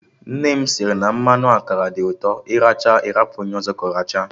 Nne m sịrị na mmanụ akara dị ụtọ, ị rachaa ị hapụ onye ọzọ ka ọ rachaa